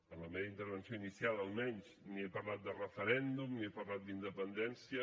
en la meva intervenció inicial almenys ni he parlat de referèndum ni he parlat d’independència